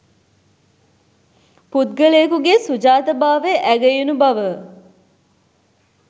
පුද්ගලයෙකුගේ සුජාතභාවය ඇගයුණු බව